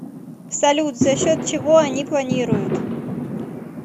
салют за счет чего они планируют